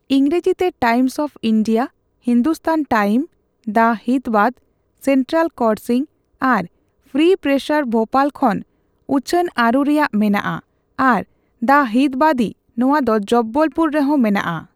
ᱤᱝᱨᱟᱡᱤᱛᱮ, time of India, Hindustan time, the ᱦᱤᱛᱵᱟᱫ, central ᱠᱚᱨᱥᱤᱝ ᱟᱨ ᱯᱷᱨᱤ ᱯᱨᱮᱥᱮᱨ ᱵᱷᱳᱯᱟᱞ ᱠᱷᱚᱱ ᱩᱪᱷᱟᱹ ᱟᱹᱨᱩ ᱨᱩᱭᱟᱹᱲ ᱢᱮᱱᱟᱜᱼᱟ ᱟᱨ ᱫᱟ ᱦᱤᱛᱵᱟᱫᱤ ᱱᱚᱣᱟ ᱫᱚ ᱡᱚᱵᱵᱚᱞ ᱯᱩᱨ ᱨᱮᱦ ᱢᱮᱱᱟᱜᱼᱟ ᱾